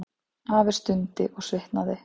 Afi stundi og svitnaði.